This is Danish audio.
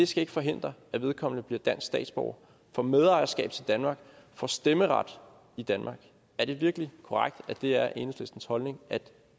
skal forhindre at vedkommende bliver dansk statsborger får medejerskab til danmark får stemmeret i danmark er det virkelig korrekt at det er enhedslistens holdning at